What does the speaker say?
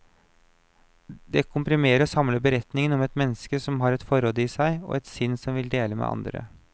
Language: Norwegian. Det komprimerer og samler beretningen om et menneske som har et forråd i seg, og et sinn som vil dele med andre.